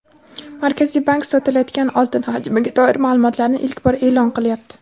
Markaziy bank sotilayotgan oltin hajmiga doir ma’lumotlarni ilk bor e’lon qilyapti.